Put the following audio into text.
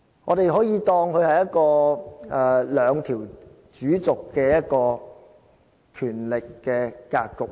我們可以當它是一個兩條主軸的權力格局。